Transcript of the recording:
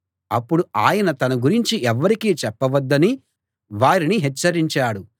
అప్పుడు ఆయన తనను గురించి ఎవ్వరికీ చెప్పవద్దని వారిని హెచ్చరించాడు